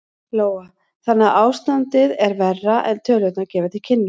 Lóa: Þannig að ástandið er verra en tölurnar gefa til kynna?